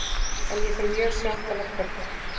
En ég fer mjög sjaldan á pöbb